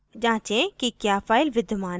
जाँचें कि क्या file विद्यमान है